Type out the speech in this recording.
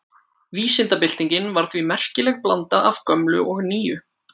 Vísindabyltingin var því merkileg blanda af gömlu og nýju.